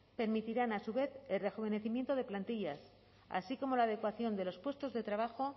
permitirán a su vez el rejuvenecimiento de plantillas así como la adecuación de los puestos de trabajo